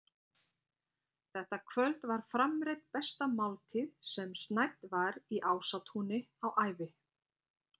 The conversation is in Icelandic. Þetta kvöld var framreidd besta máltíð sem snædd var í Ásatúni á ævi